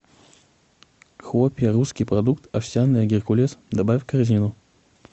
хлопья русский продукт овсяные геркулес добавь в корзину